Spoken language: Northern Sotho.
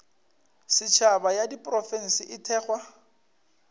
setšhaba ya diprofense e thekgwa